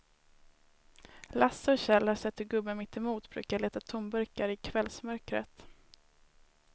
Lasse och Kjell har sett hur gubben mittemot brukar leta tomburkar i kvällsmörkret.